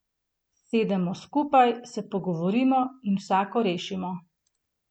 Sedemo skupaj, se pogovorimo in vsako rešimo.